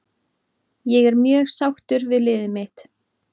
Ég er mjög sáttur við liðið mitt.